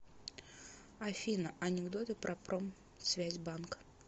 афина анекдоты про промсвязьбанк